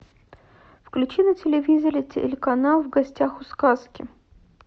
включи на телевизоре телеканал в гостях у сказки